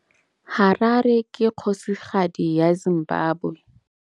Harare ke kgosigadi ya Zimbabwe.